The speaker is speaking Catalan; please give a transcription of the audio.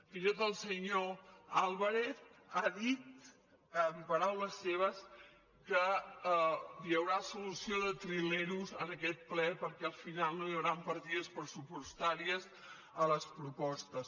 fins i tot el senyor álvarez ha dit paraules seves que hi haurà solució de trilers en aquest ple perquè al final no hi hauran partides pressupostàries a les propostes